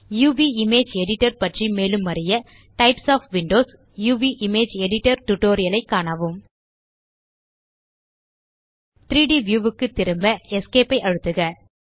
uvஇமேஜ் editor பற்றி மேலும் அறிய types of windows UV image editor tutorial ஐ காணவும் 3ட் வியூ க்கு திரும்ப Esc ஐ அழுத்துக